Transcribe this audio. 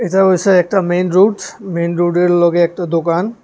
এটা হইসে একটা মেইন রোড মেইন রোডের লগে একটা দোকান।